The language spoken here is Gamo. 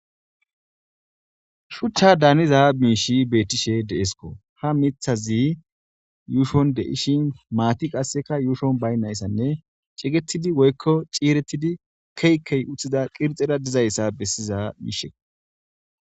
shuchcha daaniza miishi beettishe deesko ha mithazi yuushon de ishin maati qasseka yuushon baynnayssanne cigetidi woykko ciiretidi keykey utthida qirxera dizayssa bessiza miishe